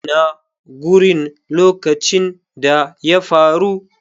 Ina gurin lokacin da ya faru.